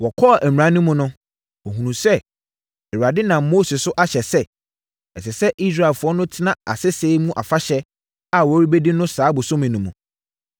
Wɔkɔɔ mmara no mu no, wɔhunuu sɛ, Awurade nam Mose so ahyɛ sɛ, ɛsɛ sɛ Israelfoɔ no tena asese mu afahyɛ a wɔrebɛdi no saa bosome no mu no.